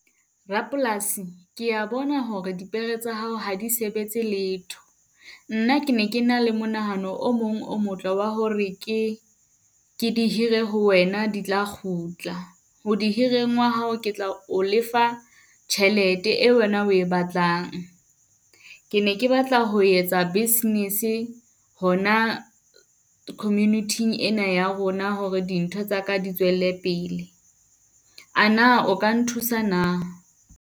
Rapolasi ke ya bona hore dipere tsa hao ha di sebetse letho. Nna ke ne ke na le monahano o mong o motle wa hore ke ke di hire ho wena di tla kgutla. Ho di hireng wa hao ke tla o lefa tjhelete eo wena o e batlang. Ke ne ke batla ho etsa business hona community-ing ena ya rona hore dintho tsaka di tswelle pele. A na o ka nthusa na?